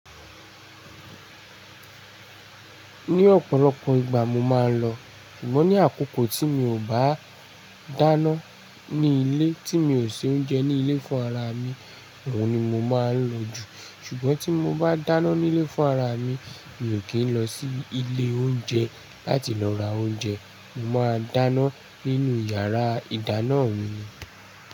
Ní ọ̀pọ̀lọpọ̀ ìgbà mo máa ń lọ, ṣùgbọ́n ní àkókò tí mi ò bá dáná ní ilé, tí mi ò ṣe oúnjẹ ní ilé fún ara mi, òun ni mo máa ń lọ jù. Ṣùgbọ́n tí mo bá dáná ní ilé fún ara mi, mi ò kí ń lọ sí ilé oúnjẹ láti lọ ra oúnjẹ. Mo máa dáná nínú yàrá ìdáná mi ni.